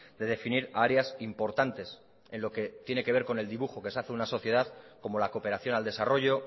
de definir a áreas importantes en lo que tiene que ver con el dibujo que se hacer una sociedad como la cooperación al desarrollo